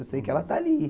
Eu sei que ela está ali.